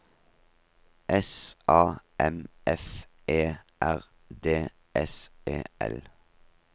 S A M F E R D S E L